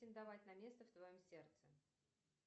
претендовать на место в твоем сердце